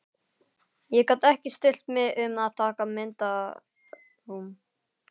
Ég gat ekki stillt mig um að taka myndaalbúm.